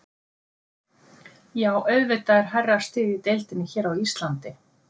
Já auðvitað er hærra stig í deildinni hér á Íslandi.